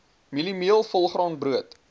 mieliemeel volgraan brood